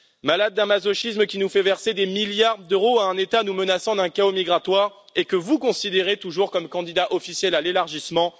Nous sommes malades d'un masochisme qui nous fait verser des milliards d'euros à un État qui nous menace d'un chaos migratoire et que vous considérez toujours comme un candidat officiel à l'élargissement.